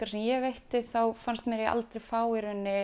sem ég veitti þá fannst mér ég aldrei fá